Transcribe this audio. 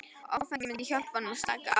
Áfengið myndi hjálpa honum að slaka á.